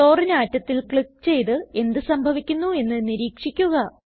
ക്ലോറിനെ ആറ്റത്തിൽ ക്ലിക്ക് ചെയ്ത് എന്ത് സംഭവിക്കുന്നു എന്ന് നിരീക്ഷിക്കുക